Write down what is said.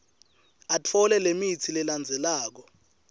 atfole lemitsi lelandzelako